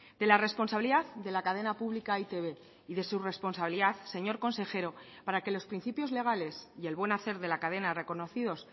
de la responsabilidad de la cadena pública e i te be y de su responsabilidad señor consejero para que los principios legales y el buen hacer de la cadena reconocidos